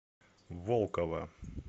волкова